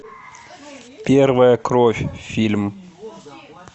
первая кровь фильм